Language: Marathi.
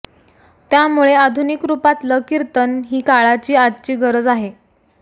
त्यामुळे आधुनिक रूपातलं कीर्तन ही काळाची आजची गरजच आहे